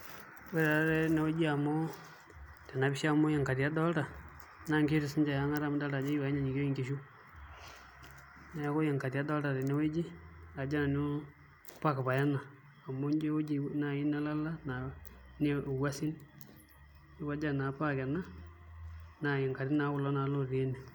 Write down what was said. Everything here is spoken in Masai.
Ore taatoi tenewueji, tene pisha amu ingati adolita naa nkishu e ang'ata amu idolita ajo eyiu enyanyukieyu nkishu, neeku ingati adolta tewuei park paye ena amu ijio ewueji naai nelala naa wuasin neeku ajo enaa park ena neeku ingati naa kulo ootii ene.